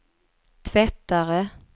tvättare